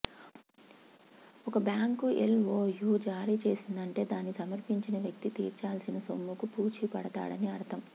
ఒక bank L O U జారీ చేసిందంటే దాన్ని సమర్పించిన వ్యక్తి తీర్చాల్సిన సొమ్ముకు పూచీ పడతామని అర్ధం